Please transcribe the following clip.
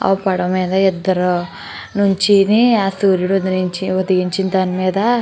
ఆ పడవ మీద ఇద్దరు నుంచొని సూర్యుడు ఉదయించి ఉదయించిన దాని మేధ --